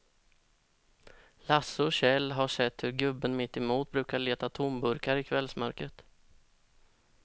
Lasse och Kjell har sett hur gubben mittemot brukar leta tomburkar i kvällsmörkret.